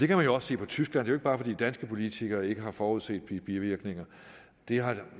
kan man jo også se på tyskland det bare fordi danske politikere ikke har forudset de bivirkninger det er